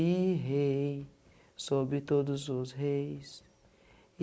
E rei sobre todos os reis.